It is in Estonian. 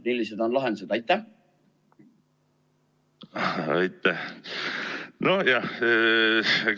Millised on lahendused?